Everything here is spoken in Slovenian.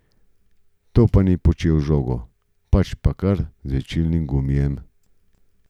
To pa ni počel z žogo, pač pa kar z žvečilnim gumijem.